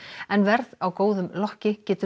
en verð á góðum lokki getur